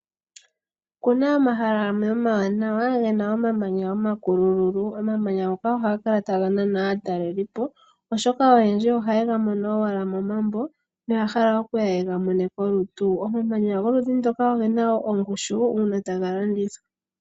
Okuna omahala gamwe omawanawa gena omamanya omakulululu. Omamanya ngoka ohaga kala taga nana aataleli po oshoka oyendji ohaye ga mono owala momambo noya hala yega mone kolutu. Omamanya goludhi ndoka ogena wo ongushu uuna taga landithwa.